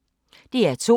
DR2